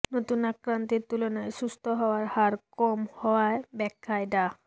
নতুন আক্রান্তের তুলনায় সুস্থ্য হওয়ার হার কম হওয়ার ব্যাখ্যায় ডা